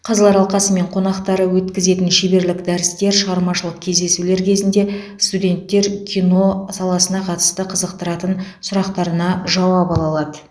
қазылар алқасы мен қонақтары өткізетін шеберлік дәрістер шығармашылық кездесулер кезінде студенттер кино саласына қатысты қызықтыратын сұрақтарына жауап ала алады